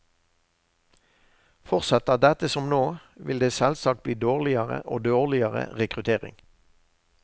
Fortsetter dette som nå, vil det selvsagt bli dårligere og dårligere rekruttering.